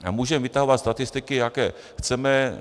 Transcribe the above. A můžeme vytahovat statistiky, jaké chceme.